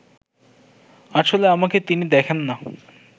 আসলে আমাকে তিনি দেখেন না